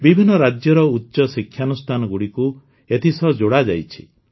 ବିଭିନ୍ନ ରାଜ୍ୟର ଉଚ୍ଚ ଶିକ୍ଷାନୁଷ୍ଠାନଗୁଡ଼ିକୁ ଏଥିସହ ଯୋଡ଼ାଯାଇଛି